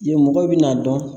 Yen mɔgɔw bina dɔn